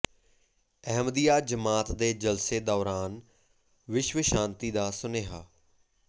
ਅਹਿਮਦੀਆ ਜਮਾਤ ਦੇ ਜਲਸੇ ਦੌਰਾਨ ਵਿਸ਼ਵ ਸ਼ਾਂਤੀ ਦਾ ਸੁਨੇਹਾ